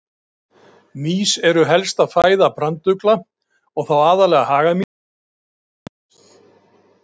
Stundum er jafnvel ekki vitað hvaða hlutverk þau hafa, aðeins að þau eru lífsnauðsynleg.